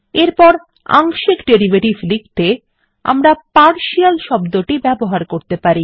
এরপর আংশিক ডেরিভেটিভ লিখতে আমরা পার্শিয়াল শব্দটি ব্যবহার করতে পারি